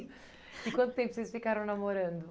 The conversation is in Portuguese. E quanto tempo vocês ficaram namorando?